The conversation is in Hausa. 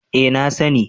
Eh, na sani